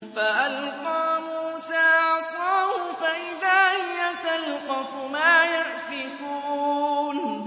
فَأَلْقَىٰ مُوسَىٰ عَصَاهُ فَإِذَا هِيَ تَلْقَفُ مَا يَأْفِكُونَ